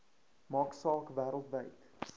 maak saak wêreldwyd